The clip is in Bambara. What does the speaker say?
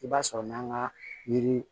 I b'a sɔrɔ n'an ka yiri